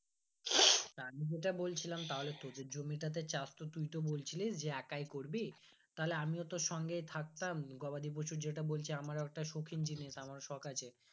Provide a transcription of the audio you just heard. তা আমি যেটা বলছিলাম তাহলে তোদের জমিটাতে চাষতো তুই তো বলছিলিস যে একই করবি তাহলে আমিও তোর সঙ্গে থাকতাম গবাদি পশু যেটা বলছে আমারও একটা সৌখিন জিনিস আমারও শখ আছে